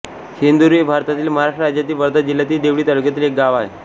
सेंदारी हे भारतातील महाराष्ट्र राज्यातील वर्धा जिल्ह्यातील देवळी तालुक्यातील एक गाव आहे